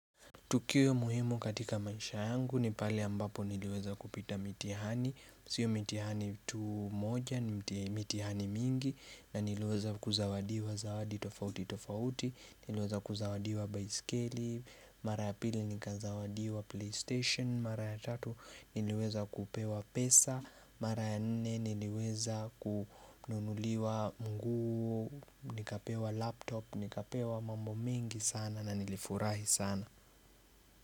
Tukio muhimu katika maisha yangu ni pale ambapo niliweza kupita mitihani, sio mitihani tu moja ni mitihani mingi na niliweza kuzawadiwa zawadi tofauti tofauti, niliweza kuzawadiwa baiskeli, mara ya pili nikazawadiwa playstation, mara ya tatu niliweza kupewa pesa, mara ya nne niliweza kununuliwa nguo, nikapewa laptop, nikapewa mambo mingi sana na nilifurahi sana.